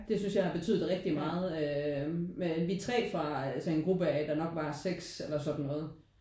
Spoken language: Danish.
Det synes jeg har betydet rigtig meget øh men vi er 3 fra altså en gruppe af der nok var 6 eller sådan noget